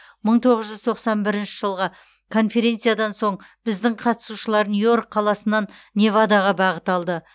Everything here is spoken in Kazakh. мың тоғыз жүз тоқсан бірінші жылғы конференциядан соң біздің қатысушылар нью йорк қаласынан невадаға бағыт алды